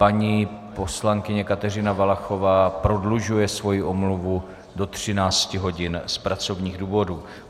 Paní poslankyně Kateřina Valachová prodlužuje svoji omluvu do 13 hodin z pracovních důvodů.